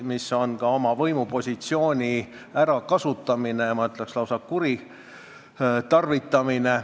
See on ka oma võimupositsiooni ärakasutamine, ma ütleks, lausa kuritarvitamine.